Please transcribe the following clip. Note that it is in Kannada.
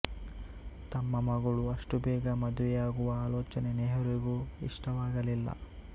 ತಮ್ಮ ಮಗಳು ಅಷ್ಟು ಬೇಗ ಮದುವೆಯಾಗುವ ಆಲೋಚನೆ ನೆಹರುಗೆ ಇಷ್ಟವಾಗಲಿಲ್ಲ